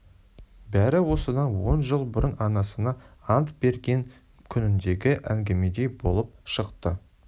бәрі осыдан он жыл бұрын анасына ант берген күніндегі әңгімедей болып шықты